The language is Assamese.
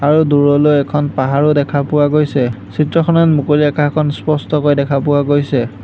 আৰু দূৰলৈ এখন পাহাৰো দেখা পোৱা গৈছে চিত্ৰখনত মুকলি আকাশখন স্পষ্টকৈ দেখা পোৱা গৈছে।